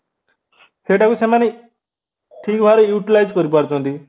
ସେଇଟାକୁ ସେମାନେ ଠିକ ଭାବରେ utilize କରିପାରୁଛନ୍ତି